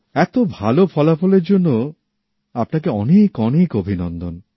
এতো ভাল ফলাফলের জন্য আপনাকে অনেক অনেক অভিনন্দন